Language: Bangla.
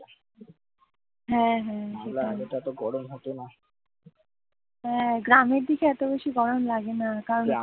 হ্যাঁ, গ্রামের দিকে অত বেশি গরম লাগে না